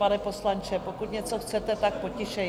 Pane poslanče, pokud něco chcete, tak tišeji.